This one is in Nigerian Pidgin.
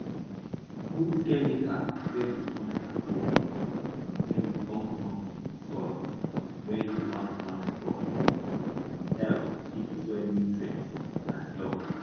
put chemical wey go turn charcoal wen e burn something for soil wey you wan plant crop e go help keep soil nutrients and help